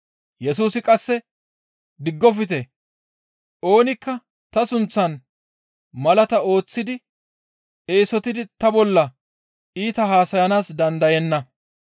Yesusi qasse, «Diggofte; oonikka ta sunththan malaata ooththidi eesotidi ta bolla iita haasayanaas dandayenna.